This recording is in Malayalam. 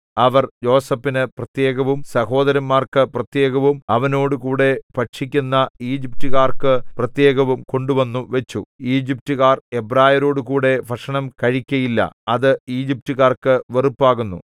അവർ യോസേഫിന് പ്രത്യേകവും സഹോദരന്മാർക്കു പ്രത്യേകവും അവനോടുകൂടെ ഭക്ഷിക്കുന്ന ഈജിപ്റ്റുകാർക്കു പ്രത്യേകവും കൊണ്ടുവന്നുവച്ചു ഈജിപ്റ്റുകാർ എബ്രായരോടുകൂടെ ഭക്ഷണം കഴിക്കയില്ല അത് ഈജിപ്റ്റുകാർക്കു വെറുപ്പാകുന്നു